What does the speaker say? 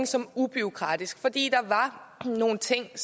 som en ubureaukratisk ordning fordi der var nogle ting